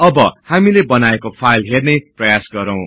अब हामी हामीले बनाएको फाईल हेर्ने प्रयास गरौ